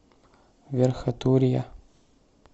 верхотурья